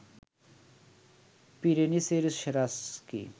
পিরেনিসের সেরা স্কি